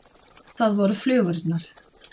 Það voru flugurnar.